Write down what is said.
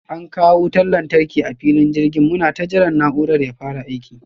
An kawo wutan lantarki a filin jirgin, munata jiran na'urar ya fara aiki.